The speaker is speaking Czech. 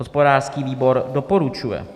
Hospodářský výbor doporučuje.